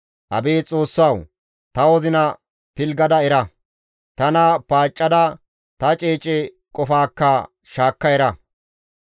Abeet Xoossawu! Ta wozina pilggada era; tana paaccada ta ceece qofaakka shaakka era.